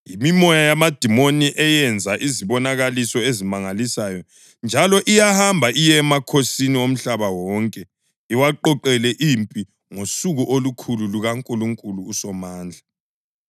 Yimimoya yamadimoni eyenza izibonakaliso ezimangalisayo njalo iyahamba iye emakhosini omhlaba wonke iwaqoqela impi ngosuku olukhulu lukaNkulunkulu uSomandla.